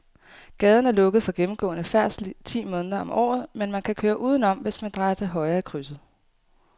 Gaden er lukket for gennemgående færdsel ti måneder om året, men man kan køre udenom, hvis man drejer til højre i krydset.